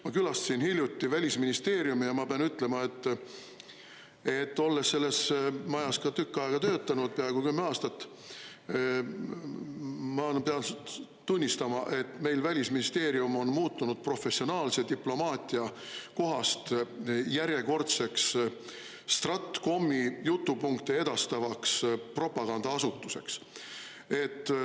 Ma külastasin hiljuti Välisministeeriumi ja ma pean ütlema, et, olles selles majas ka tükk aega töötanud, peaaegu kümme aastat, ma nüüd pean tunnistama, et meil Välisministeerium on muutunud professionaalse diplomaatia kohast järjekordseks StratComi jutupunkte edastavaks propagandaasutuseks.